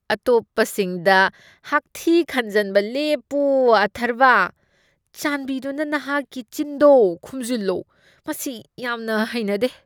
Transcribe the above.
ꯑꯇꯣꯞꯄꯁꯤꯡꯗ ꯍꯥꯛꯊꯤ ꯈꯟꯖꯟꯕ ꯂꯦꯞꯄꯨ ꯑꯊꯔꯕꯥ꯫ ꯆꯥꯟꯕꯤꯗꯨꯅ ꯅꯍꯥꯛꯀꯤ ꯆꯤꯟꯗꯣ ꯈꯨꯝꯖꯤꯜꯂꯣ꯫ ꯃꯁꯤ ꯌꯥꯝꯅ ꯍꯩꯅꯗꯦ꯫